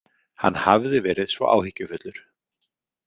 Hann hafði verið svo áhyggjufullur.